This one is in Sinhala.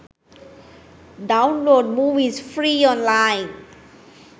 download movies free online